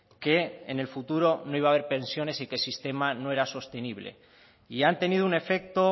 que en el futuro no iba a haber pensiones y que el sistema no era sostenible y han tenido un efecto